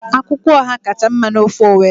Akwukwo Ọha kacha mma n'ofe Owerri